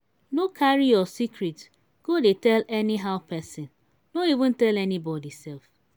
no carry your secret go dey tell anyhow pesin no even tell anybody sef.